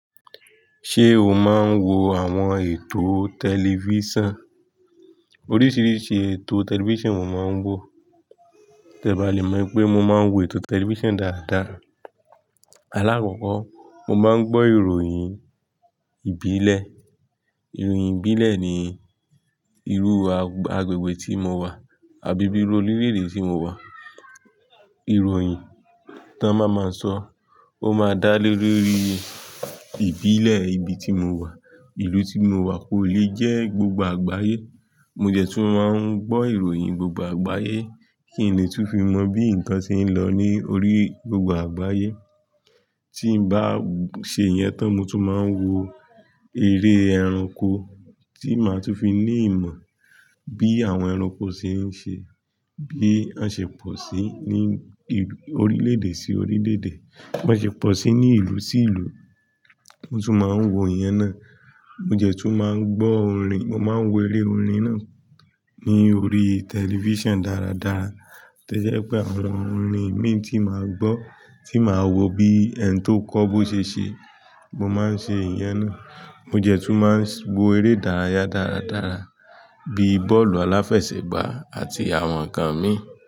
Ṣé o máa ń wo àwọn ètò tẹlifíṣàn? Oríṣìíríṣìí ètò tẹlifíṣàn mo máa ń wò. Kẹ bá lè mọ̀ pé, mo máa ń wo ètò tẹlifíṣàn dáadáa. Alákọ̀ọ́kọ́ mo máa ń gbọ́ ìròyìn ìbílẹ̀. Ìròyìn ìbílẹ̀ ní irú agbègbè tí mo wà àbí bí orílẹ̀ èdè tí mo wà. Ìròyìn tí wọ́n bá máa ń sọ, ó máa n dá lé rí ìbílẹ̀ ibi tí mo wà. Ìlú tí mo wà kò lé jẹ́ gbogbo àgbáyé. Mo dẹ́ tún máa ń gbọ́ ìròyìn gbogbo àgbáyé kí n lè tún fi mọ bí nǹkan ṣe ń lọ ní orí gbogbo àgbáyé. Tí n bá ṣe ìyẹn tán, mo tún máa ń wo eré ẹranko tí màá tún fi ní ìmọ̀ bí àwọn ẹranko ṣe ń ṣe, bí wọ́n ṣe pọ̀ sí ní ìlú, orílẹ̀ èdè sí orílẹ̀ èdè, bí wọ́n ṣe pọ̀ sí ní ìlú sí ìlú. Mo tún máa ń wo ìyẹn náà. Mo jẹ́ tún máa ń gbọ́ orin. Mo máa ń wo eré orin náà ní orí tẹlifíṣàn dáradára. Ìròyìn tí wọ́n bá máa ń sọ, ó máa n dá lé rí Mo máa ń ṣe ìyẹn náà. Mo dẹ́ tún máa ń wo eré ìdárayá dáradára bí bọ́ọ̀lù aláfẹsẹ̀gbá àti àwọn nǹkan míì.